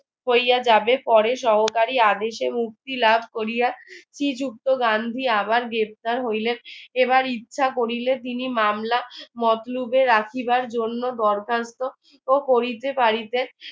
কইয়া যাবে পরে সহকারী আদেশে মুক্তি লাভ করিয়া শ্রীযুক্ত গান্ধী আবার গ্রেফতার হইলেন এবার ইচ্ছা করিলে তিনি মামলা মতলুবে রাখিবার জন্য দরকার তো ও করিতে পারিতে